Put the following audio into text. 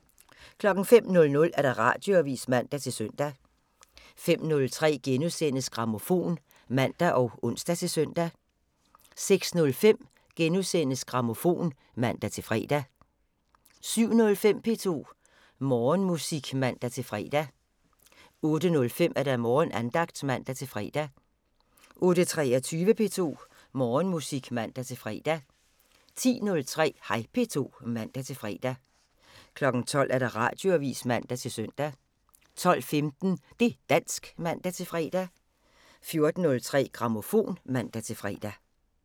05:00: Radioavisen (man-søn) 05:03: Grammofon *(man og ons-søn) 06:05: Grammofon *(man-fre) 07:05: P2 Morgenmusik (man-fre) 08:05: Morgenandagten (man-fre) 08:23: P2 Morgenmusik (man-fre) 10:03: Hej P2 (man-fre) 12:00: Radioavisen (man-søn) 12:15: Det' dansk (man-fre) 14:03: Grammofon (man-fre)